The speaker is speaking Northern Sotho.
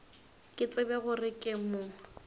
ke tsebe gore ke mo